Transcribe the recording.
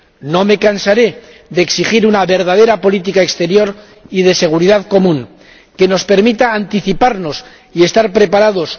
No me cansaré de exigir una verdadera política exterior y de seguridad común que nos permita anticiparnos y estar preparados.